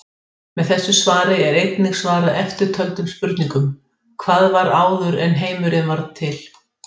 Óhappið varð seint á föstudaginn var